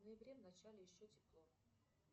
в ноябре в начале еще тепло